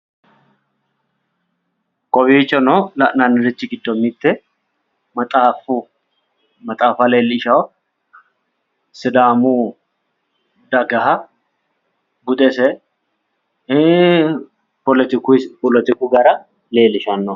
Kowiichono la'nannite giddo maxaafa leellishawo sidaamu dagaha budese poletiku gara leellishanno